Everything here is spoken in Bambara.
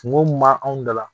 Kungo mun b' anw dala.